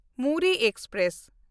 Muri express